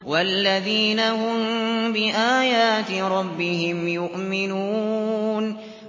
وَالَّذِينَ هُم بِآيَاتِ رَبِّهِمْ يُؤْمِنُونَ